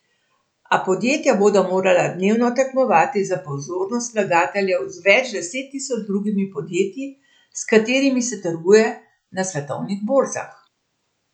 A podjetja bodo morala dnevno tekmovati za pozornost vlagateljev z več deset tisoč drugimi podjetji, s katerimi se trguje na svetovnih borzah.